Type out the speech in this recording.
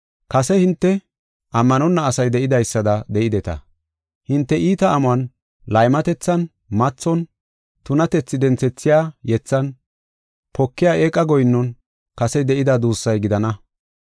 Kase hinte ammanonna asay de7idaysada de7ideta. Hinte iita amon, laymatethan, mathon, tunatethi denthethiya yethan, pokiya eeqa goyinnon kase de7ida duussay gidana.